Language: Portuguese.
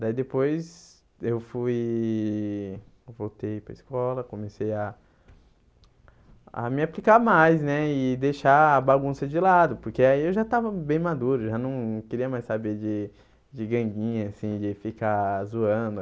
Daí depois eu fui eu voltei para a escola, comecei a a me aplicar mais né e deixar a bagunça de lado, porque aí eu já estava bem maduro, já não queria mais saber de de ganguinha, assim de ficar zoando.